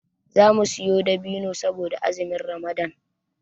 Zamu siyo dabino saboda azumin ramadan